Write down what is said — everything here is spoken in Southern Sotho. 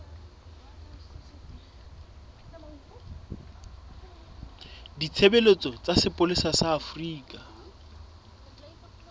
ditshebeletso tsa sepolesa sa afrika